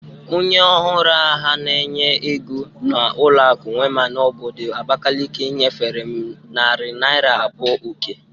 Onye ọhuru aha na-enye ego na ụlọakụ Wema n'obodo Abakeleke nyefere m nari naira abụo oke